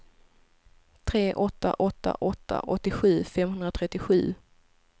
tre åtta åtta åtta åttiosju femhundratrettiosju